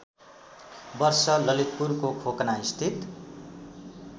वर्ष ललितपुरको खोकनास्थित